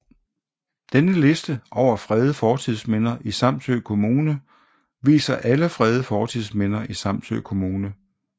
Denne liste over fredede fortidsminder i Samsø Kommune viser alle fredede fortidsminder i Samsø Kommune